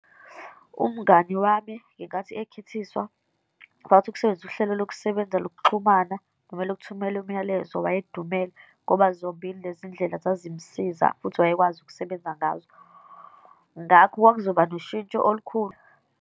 Umngani wami ngenkathi ekhithiswa, wathi ukusebenzisa uhlelo lokusebenza lokuxhumana, kumele ukuthumela umyalezo, wayedumele ngoba zombili lezindlela zazimsiza futhi wayekwazi ukusebenza ngazo. Ngakho kwakuzoba noshintsho olukhulu.